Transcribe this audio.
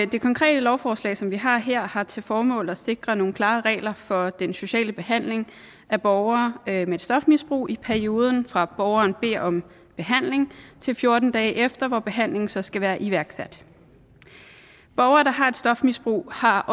det konkrete lovforslag som vi har her har til formål at sikre nogle klare regler for den sociale behandling af borgere med et stofmisbrug i perioden fra borgerne beder om behandling til fjorten dage efter hvor behandlingen så skal være iværksat borgere der har et stofmisbrug har